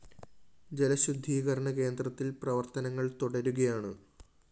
ജലശുദ്ധീകരണ കേന്ദ്രത്തില്‍ പ്രവര്‍ത്തനങ്ങള്‍ തുടരുകയാണ്